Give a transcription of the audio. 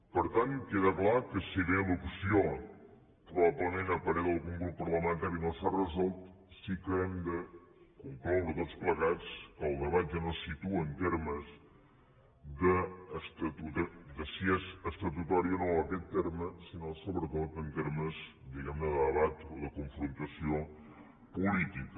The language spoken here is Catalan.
per tant queda clar que si bé l’opció probablement a parer d’algun grup parlamentari no s’ha resolt sí que hem de concloure tots plegats que el debat ja no se situa en termes de si és estatutari o no aquest terme sinó sobretot en termes diguem ne de debat o de confrontació política